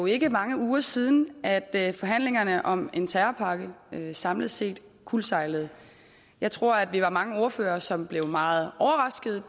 ikke er mange uger siden at at forhandlingerne om en terrorpakke samlet set kuldsejlede jeg tror at vi var mange ordførere som blev meget overraskede